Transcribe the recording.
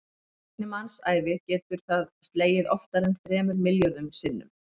Á einni mannsævi getur það slegið oftar en þremur milljörðum sinnum.